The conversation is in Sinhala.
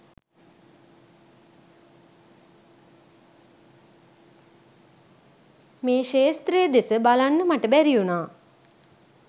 මේ ක්ෂේත්‍රය දෙස බලන්න මට බැරිවුණා